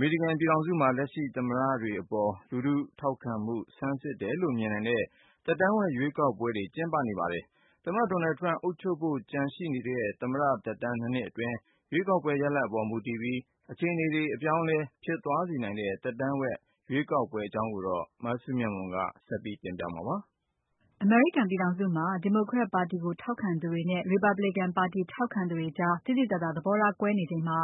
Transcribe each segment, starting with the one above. မေရိကန်ပြည်ထောင်စုမှာ လက်ရှိသမ္မတတွေအပေါ် လူထုထောက်ခံမှု ဆန်းစစ်တယ်လို့မြင်နိုင်တဲ့ သက်တမ်းဝက်ရွေးကောက်ပွဲတွေ ကျင်းပနေပါတယ်။ သမ္မတ Donald Trump အုပ်ချုပ်ဖို့ကျန်တဲ့ သမ္မတသက်တမ်း ၂ နှစ်အတွင်း ရွေးကောက်ပွဲရလာဒ်အပေါ် မူတည်ပြီး အခြေအနေတွေ အပြောင်းအလဲ ဖြစ်သွားစေနိုင်တဲ့ သက်တမ်းဝက်ရွေးကောက်ပွဲအကြောင်းကို မစုမြတ်မွန်က ဆက်ပြီးတင်ပြပါမယ်။ အမေရိကန်ပြည်ထောင်စုမှာ Democrat ပါတီကိုထောက်ခံသူတွေနဲ့ Republican ပါတီထောက်ခံသူတွေကြား သိသိသာသာ သဘောထားကွဲနေချိန်မှာ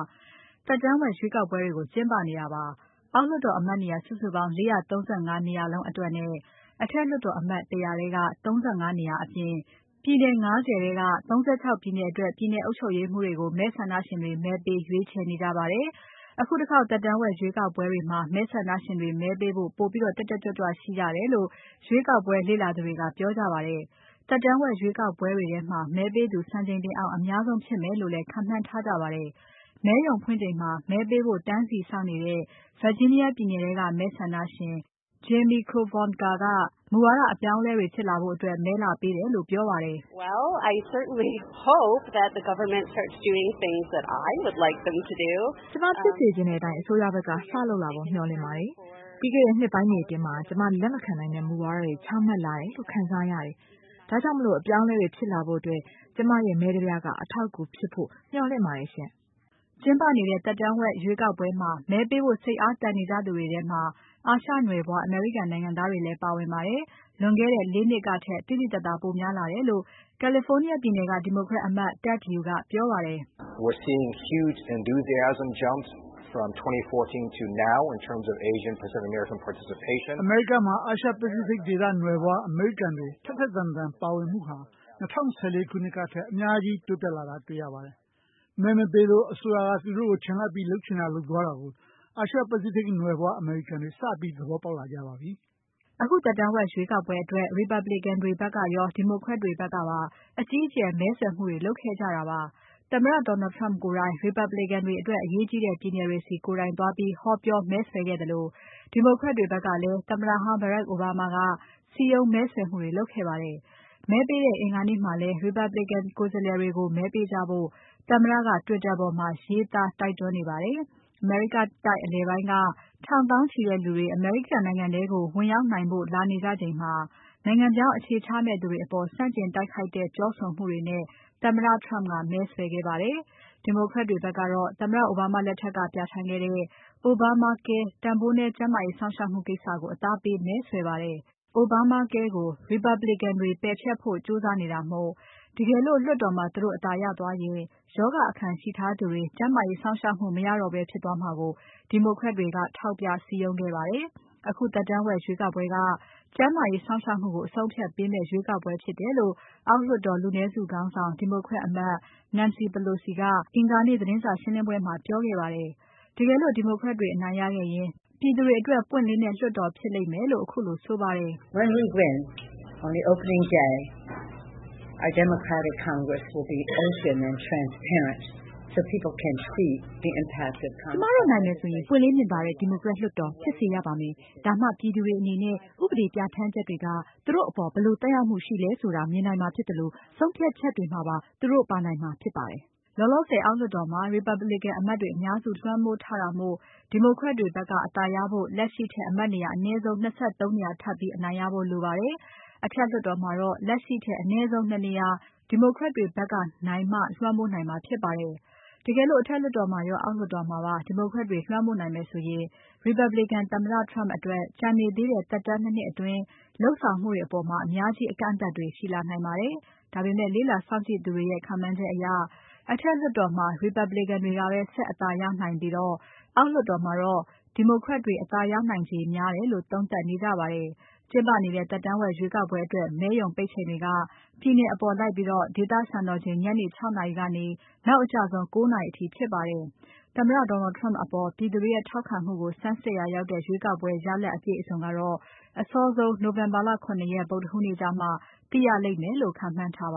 သက်တမ်းဝက်ရွေးကောက်ပွဲတွေကို ကျင်းပနေတာပါ။ အောက်လွှတ်တော်အမတ်နေရာ စုစုပေါင်း ၄၃၅ နေရာလုံးအတွက်နဲ့ အထက်လွှတ်တော်အမတ် ၁၀၀ ထဲက ၃၅ နေရာအပြင်၊ ပြည်နယ် ၅၀ ထဲက ၃၆ ပြည်နယ်အတွက် ပြည်နယ်အုပ်ချုပ်ရေးမှူးတွေကို မဲဆန္ဒရှင်တွေ မဲပေးရွေးချယ်နေကြပါတယ်။ အခုတခေါက် သက်တမ်းဝက်ရွေးကောက်ပွဲတွေမှာ မဲဆန္ဒရှင်တွေ မဲပေးဖို့ ပိုပြီးတက်တက်ကြွကြွရှိကြတယ်လို့ ရွေးကောက်ပွဲ လေ့လာသူတွေက ပြောကြပါတယ်။ သက်တမ်းဝက်ရွေးကောက်ပွဲတွေထဲမှာ မဲပေးသူ စံချိန်တင်အောင် အများဆုံးဖြစ်မယ်လို့လည်း ခန့်မှန်းထားကြပါတယ်။ မဲရုံဖွင့်ချိန်မှာ မဲပေးဖို့ တန်းစီစောင့်နေတဲ့ Virginia ပြည်နယ်ထဲက မဲဆန္ဒရှင် Jamie Krovontka ကမူဝါဒအပြောင်းအလဲတွေဖြစ်လာဖို့အတွက် မဲလာပေးတယ်လို့ ပြောပါတယ်။ "ကျမဖြစ်စေချင်တဲ့အတိုင်း အစိုးရဖက်က စလုပ်လာဖို့မျှော်လင့်ပါတယ်။ ပြီးခဲ့တဲ့ နှစ်ပိုင်းတွေအတွင်း ကျမလက်မခံနိုင်တဲ့ မူဝါဒတွေ ချမှတ်လာတယ်လို့ ခံစားရပါတယ်။ ဒါကြောင့် အပြောင်းအလဲတွေဖြစ်လာဖို့ ကျမရဲ့ မဲတပြားက အထောက်အကူဖြစ်မယ်လို့ မျှော်လင့်ပါတယ်။" ကျင်းပနေတဲ့ သက်တမ်းဝက်ရွေးကောက်ပွဲမှာ မဲပေးဖို့ စိတ်အားသန်နေကြသူတွေထဲမှာ အာရှနွယ်ဖွား အမေရိကန်နိုင်ငံသားတွေလည်းပါဝင်ပါတယ်။ လွန်ခဲ့တဲ့ ၄ နှစ်ကထက် သိသိသာသာ ပိုများလာတယ်လို့ California ပြည်နယ်က Democrat အမတ် Ted Lieu ကပြောပါတယ်။ "အမေရိကန်မှာ အာရှ Pacific ဒေသနွယ်ဖွား အမေရိကန်တွေ ထက်ထက်သန်သန် ပါဝင်မှုက ၂၀၁၄ ခုနှစ်ကထက် အများကြီးတက်လာတာ တွေ့ရပါတယ်။ မဲမပေးလို့ အစိုးရက လုပ်ချင်တာလုပ်သွားတာကို အာရှ Pacific နွယ်ဖွားအမေရိကန်တွေ စပြီး သဘောပေါက်လာကြပါပြီ။" အခုသက်တမ်းဝက်ရွေးကောက်ပွဲအတွက် Republican တွေဖက်ကရော Democrat တွေဖက်ကပါ အကြီးအကျယ် မဲဆွယ်မှုတွေလုပ်ခဲ့ကြတာပါ။ သမ္မတ Donald Trump ကိုယ်တိုင် Republican တွေအတွက် အရေးကြီးတဲ့ ပြည်နယ်တွေဆီ ကိုယ်တိုင်သွားပြီး ဟောပြောမဲဆွယ်ခဲ့သလို Democrat တွေဖက်ကလည်း သမ္မတဟောင်း Barack Obama က စည်းရုံးမဲဆွယ်မှုတွေလုပ်ခဲ့ပါတယ်။ မဲပေးတဲ့အင်္ဂါနေ့မှာလည်း Republican ကိုယ်စားလှယ်တွေကို မဲပေးကြဖို့ သမ္မတက Twitter ပေါ်မှာ ရေးသားတိုက်တွန်းနေပါတယ်။ အမေရိကတိုက်အလယ်ပိုင်းက ထောင်သောင်းချီတဲ့လူတွေ အမေရိကန်နိုင်ငံထဲကို ဝင်ရောက်နိုင်ဖို့ လာနေကြချိန်မှာ နိုင်ငံပြောင်းအခြေချမယ့်သူတွေအပေါ် ဆန့်ကျင်တိုက်ခိုက်တဲ့ပြောဆိုမှုတွေနဲ့ သမ္မတ Trump ကမဲဆွယ်ခဲ့ပါတယ်။ Democrat တွေဖက်ကတော့သမ္မတအိုဘားမားလက်ထက်က ပြဌာန်းခဲ့တဲ့ Obamacare တန်ဖိုးနည်းကျန်းမာရေးစောင့်ရှောက်မှုကိစ္စကို အသားပေးမဲဆွယ်ပါတယ်။ Obamacare ကို Republican တွေ ပယ်ဖျက်ဖို့ကြိုးစားနေတာမို့ တကယ်လို့ လွှတ်တော်မှာ သူတို့အသာရသွားရင် ရောဂါအခံရှိသူတွေ ကျန်းမာရေးစောင့်ရှောက်မှုမရတော့ဘဲ ဖြစ်သွားမှာကို Democrat တွေထောက်ပြစည်းရုံးခဲ့ပါတယ်။ အခုသက်တမ်းဝက် ရွေးကောက်ပွဲက ကျန်းမာရေးစောင့်ရှောက်မှုကို အဆုံးအဖြတ်ပေးမယ့်ရွေးကောက်ပွဲဖြစ်တယ်လို့ အောက်လွှတ်တော် လူနည်းစုခေါင်းဆောင် Democrat အမတ် Nancy Pelosi ကအင်္ဂါနေ့ သတင်းစာရှင်းပွဲမှာ ပြောခဲ့ပါတယ်။ တကယ်လို့ Democrat တွေအနိုင်ရခဲ့ရင် ပြည်သူတွေအတွက် ပွင့်လင်းတဲ့လွှတ်တော်ဖြစ်လိမ့်မယ်လို့ ခုလိုဆိုပါတယ်။ "ကျမတို့နိုင်မယ်ဆိုရင် ပွင့်လင်းမြင်သာတဲ့ Democrat လွှတ်တော်ဖြစ်စေရပါတယ်။ ဒါမှ ပြည်သူတွေအနေနဲ့ ဥပဒေပြဌာန်းချက်တွေက သူတို့အပေါ် ဘယ်လိုသက်ရောက်မှုရှိလဲဆိုတာ မြင်နိုင်မှာဖြစ်သလို ဆုံးဖြတ်ချက်တွေမှာ သူတို့ ပါနိုင်မှာဖြစ်ပါတယ်။" လောလောဆယ် အောက်လွှတ်တော်မှာ Republican အမတ်တွေအများစု လွှမ်းမိုးထားတာမို့ Democrat တွေဖက်က အသာရဖို့ လက်ရှိထက် အမတ်နေရာ အနည်းဆုံး ၂၃ နေရာ ထပ်ပြီး အနိုင်ရဖို့လိုပါတယ်။ အထက်လွှတ်တော်မှာတော့ လက်ရှိထက် အနည်းဆုံး ၂ နေရာ Democrat တွေဖက်ကနိုင်မှ လွှမ်းမိုးနိုင်မှာဖြစ်ပါတယ်။ တကယ်လို့ အထက်လွှတ်တော်မှာရော အောက်လွှတ်တော်မှာပါ Democrat တွေလွှမ်းမိုးနိုင်မယ်ဆိုရင် Republican သမ္မတ Trump အတွက် ကျန်သေးတဲ့ သက်တမ်း ၂ နှစ်အတွင်း လုပ်ဆောင်မှုတွေအပေါ် အများကြီးအကန့်အသတ်တွေရှိလာနိုင်ပါတယ်။ ဒါပေမဲ့ လေ့လာစောင့်ကြည့်သူတွေရဲ့ ခန့်မှန်းချက်တွေအရ အထက်လွှတ်တော်မှာ Republican တွေကပဲ ဆက်အသာရနိုင်ပြီး အောက်လွှတ်တော်မှာတော့ Democrat တွေ အသာရနိုင်ခြေများတယ်လို့ သုံးသပ်နေကြပါတယ်။ ကျင်းပနေတဲ့ သက်တမ်းဝက်ရွေးကောက်ပွဲအတွက် မဲရုံပိတ်ချိန်တွေက ပြည်နယ်အပေါ်လိုက်ပြီး ဒေသစံတော်ချိန် ညနေ ၆ နာရီကနေ နောက်အကျဆုံး ၉ နာရီအထိဖြစ်ပါတယ်။ သမ္မတ Donald Trump အပေါ် ပြည်သူတွေရဲ့ထောက်ခံမှုကို ဆန်းစစ်ရာရောက်တဲ့ ရွေးကောက်ပွဲရလာဒ်အပြည့်အစုံကတော့ အစောဆုံး နိုဝင်ဘာ ၇ ရက် ဗုဒ္ဓဟူးနေ့ကျမှ သိရလိမ့်မယ်လို့ ခန့်မှန်းထားပါ